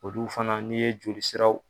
Olu fana n'i ye joli siraw